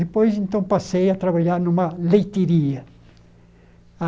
Depois, então, passei a trabalhar numa leiteiria.